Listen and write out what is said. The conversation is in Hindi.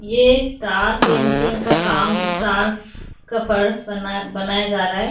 ये तार फेंसिंग का काम तार का फर्श बना बनाया जाराय।